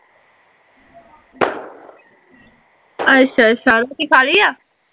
ਅੱਛਾ ਅੱਛਾ ਰੋਟੀ ਖਾ ਲਈ ਆ